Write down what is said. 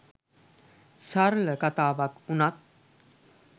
සරල කතාවක් වුණත්